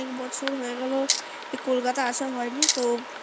বহু বছর হয়ে গেল কলকাতা আসা হয়নি তো